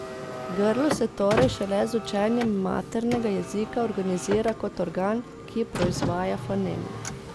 Grlo se torej šele z učenjem maternega jezika organizira kot organ, ki proizvaja foneme.